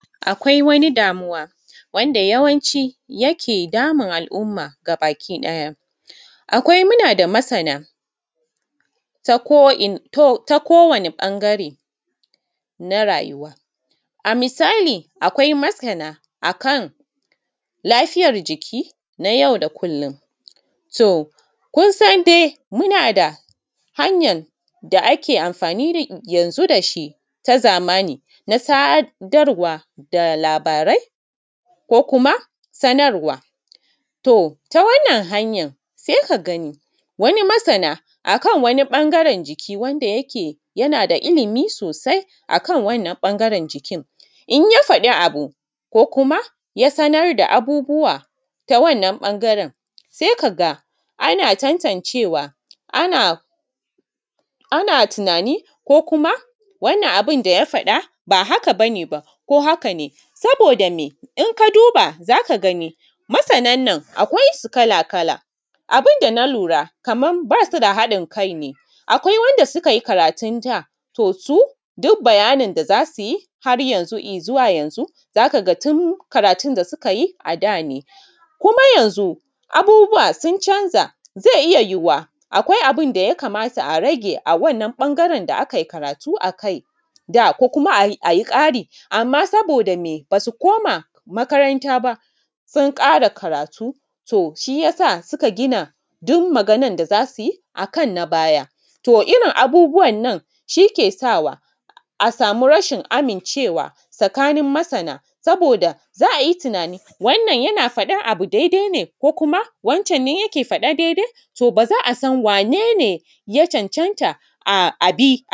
Akwai wani damuwa wanda yawanci yake damun al’umma gabakiɗaya, akwai munada masana tako’ina takowani ɓangare na rayuwa, a misali akwai masana akan lafiyar jiki na yau da kullum to kun san dai muna da hanyar da ake amfani yanzun da shi ta zamani na sadarwa da labarai ko kuma sanarwa. To, ta wannan hanyan sai ka gani wani masana akan wani ɓangaren jiki wanda yake yana da ilimi sosai akan wannan ɓangaren jikin in ya fadi wani abu ko kuma ya sanar da abubuwa ta wannan ɓangaren sai ka ga ana tantancewa, ana tunani ko kuma wannan abun da ya faɗa ba haka ba ne. Ba ko haka ne saboda me in ka duba za ka gani masanan na akwai su kala-kala abun da na lura kaman ba su da haɗin kai ne, akwai wanda sukai karatun da to su duk bayanin da za su yi haryanzun izuwa yanzun za ka ga tun karatun da suka yi ada ne kuma yanzun abubuwa sun canja zai iya yuwuwa akwai abun da ya kamata a rage. A wannan ɓangaren da akai karatu akai da ko kuma a yi ƙari amma saboda me ba su koma makaranta ba sun ƙara karatu to shi ya sa suka gina duk maganan da za su yi akan na baya, to irin abubuwan nan shi ke sawa a samu rashin amincewa tsakanin masana saboda za a yi tunanin wannan yana faɗan abu daidai ne ko kuma wancan ne yake faɗan.